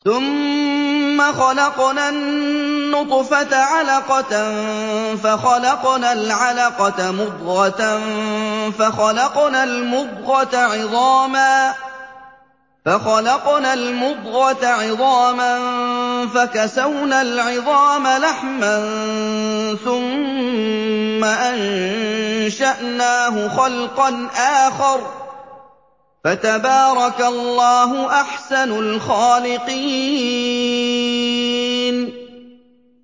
ثُمَّ خَلَقْنَا النُّطْفَةَ عَلَقَةً فَخَلَقْنَا الْعَلَقَةَ مُضْغَةً فَخَلَقْنَا الْمُضْغَةَ عِظَامًا فَكَسَوْنَا الْعِظَامَ لَحْمًا ثُمَّ أَنشَأْنَاهُ خَلْقًا آخَرَ ۚ فَتَبَارَكَ اللَّهُ أَحْسَنُ الْخَالِقِينَ